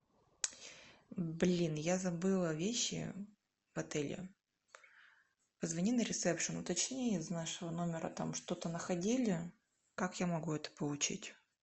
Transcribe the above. блин я забыла вещи в отеле позвони на ресепшн уточни из нашего номера там что то находили как я могу это получить